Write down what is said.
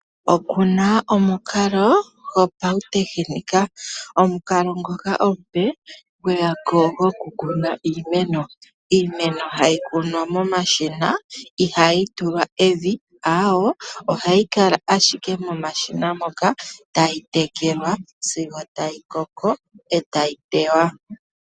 Oku na omukalo gopautekinika. Omukalo ngoka omupe gwe ya ko gokukuna iimeno. Iimeno ohayi kunwa momashina ihaayi tulwa evi, aawe, ohayi kala ashike momashina moka tayi tekelwa sigo tayi koko e tayi tewa.